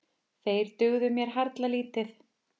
Þeir dugðu mér harla lítið.